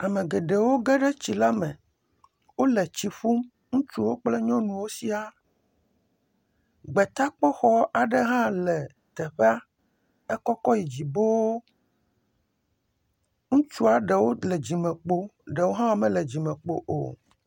Ame geɖewo ge ɖe tsi la me, wole tsi ƒum ŋutsuwo kple nyɔnuwo siaa, gbetaxɔ aɖe hã le teƒea ekɔkɔ yi dzi boo, ŋutsu ɖewo le dzimekpo ɖewo hã mele dzimekpo o.